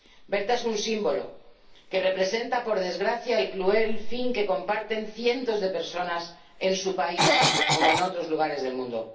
Berta es un símbolo que representa, por desgracia, el cruel fin que comparten cientos de personas tanto en su país como en otros lugares del mundo